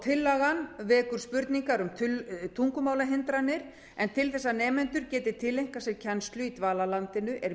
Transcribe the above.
tillagan vekur spurningar um tungumálahindranir en til þess að nemendur geti tileinkað sér kennslu í dvalarlandinu er